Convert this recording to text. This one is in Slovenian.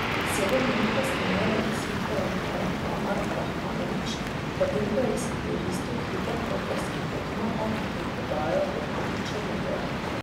Sedem minut kasneje je izid poravnal Amar Rahmanović, potem ko je izkoristil hiter koprski protinapad in podajo Domna Črnigoja.